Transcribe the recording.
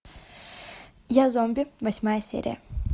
я зомби восьмая серия